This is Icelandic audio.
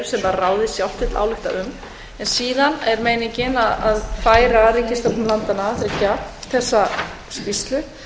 sem ráðið sjálft vill álykta um en síðan er meiningin að færa ríkisstjórnum landanna þriggja þessa skýrslu